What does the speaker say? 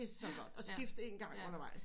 Det er så godt og skift en gang undervejs